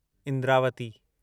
Indravati